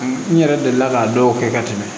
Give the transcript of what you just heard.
N yɛrɛ delila k'a dɔw kɛ ka tɛmɛ